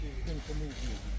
Sən kimə zəng eləmisən?